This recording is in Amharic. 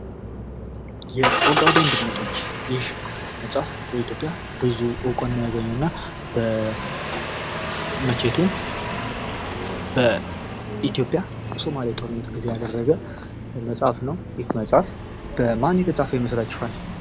የኦጋዴን ድመቶች ፦ ይህ መጽሐፍ በኢትዮጵያ ብዙ ዕውቅና ያገኘ እና መቼቱን በኢትዮጵያ ሶማሊያ ጦርነት ላይ ያደረገ መጽሐፍ ነው ። ይህ መጽሐፍ በማን የተጻፈ ይመስላችኋል ?